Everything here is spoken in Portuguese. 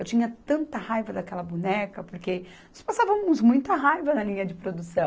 Eu tinha tanta raiva daquela boneca, porque nós passávamos muita raiva na linha de produção.